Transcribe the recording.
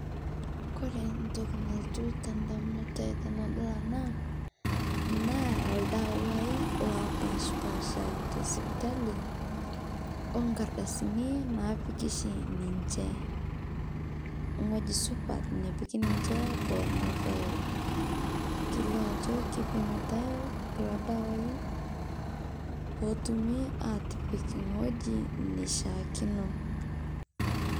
Kore ntokii nalotuu te ndamunot ai tanadol ana naa ldewai laapashpasha te sipitali o nkaardasini napiiki shii ninchee o ng'oji supaat nepiiki ninchee poo moroyoo. Keleo ajoo keipimitai kuloo ldewai poo etuumi apiik ng'oji neshaakino.